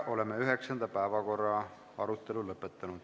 Oleme üheksanda päevakorrapunkti arutelu lõpetanud.